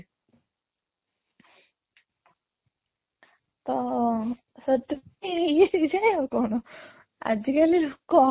ତ ହେଇଯାଏ ଆଉ କ'ଣ ଆଜି କାଲି ଲୋକ